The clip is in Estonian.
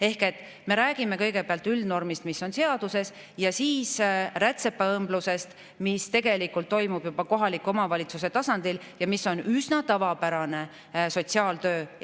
Ehk me räägime kõigepealt üldnormist, mis on seaduses, ja siis rätsepa, mis tegelikult toimub kohaliku omavalitsuse tasandil ja mis on üsna tavapärane sotsiaaltöö.